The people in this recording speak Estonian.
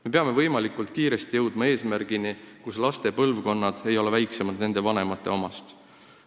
Me peame võimalikult kiiresti jõudma eesmärgini, mille järgi ei ole laste põlvkonnad väiksemad nende vanemate omast.